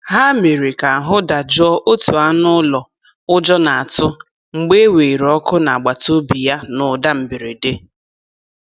Ha mere ka ahụ dajụọ otu anụ ụlọ ụjọ na-atụ mgbe e weere ọkụ n'agbataobi ya na ụda mberede.